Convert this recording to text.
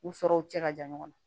U sɔrɔw cɛ ka jan ɲɔgɔn na